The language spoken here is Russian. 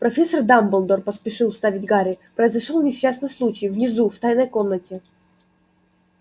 профессор дамблдор поспешил вставить гарри произошёл несчастный случай внизу в тайной комнате